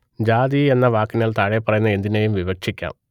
ജാതി എന്ന വാക്കിനാൽ താഴെപ്പറയുന്ന എന്തിനേയും വിവക്ഷിക്കാം